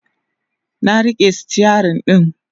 na rike stirin ɗin